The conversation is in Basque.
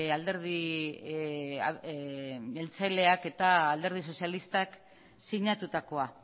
alderdi jeltzaleak eta alderdi sozialistak sinatutakoa